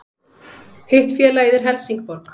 Hitt félagið er Helsingborg